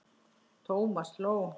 Thomas hló.